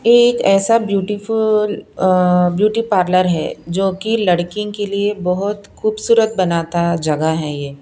एक ऐसा beautiful beauty parlour है जो कि लड़की के लिए बहुत खूबसूरत बनाता जगह है ये--